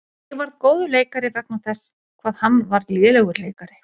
Ég varð góður leikari vegna þess hvað hann var lélegur leikari.